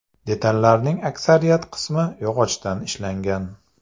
Detallarning aksariyat qismi yog‘ochdan ishlangan.